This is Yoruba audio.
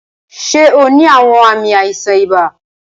Ṣe o ni awọn aami aisan iba?